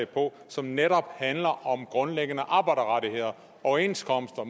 på som netop handler om grundlæggende arbejderrettigheder overenskomster